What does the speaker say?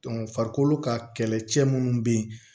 farikolo ka kɛlɛcɛ minnu bɛ yen